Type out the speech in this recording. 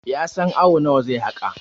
ya san awo nawa zai haka!